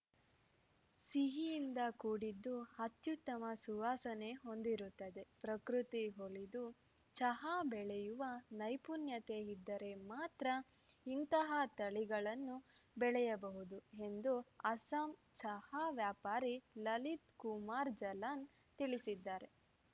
ಸಿಹಿಯಿಂದ ಕೂಡಿದ್ದು ಅತ್ಯುತ್ತಮ ಸುವಾಸನೆ ಹೊಂದಿರುತ್ತದೆ ಪ್ರಕೃತಿ ಒಲಿದು ಚಹಾ ಬೆಳೆಯುವ ನೈಪುಣ್ಯತೆ ಇದ್ದರೆ ಮಾತ್ರ ಇಂತಹ ತಳಿಗಳನ್ನು ಬೆಳೆಯಬಹುದು ಎಂದು ಅಸ್ಸಾಂ ಚಹಾ ವ್ಯಾಪಾರಿ ಲಲಿತ್‌ ಕುಮಾರ್‌ ಜಲಾನ್‌ ತಿಳಿಸಿದ್ದಾರೆ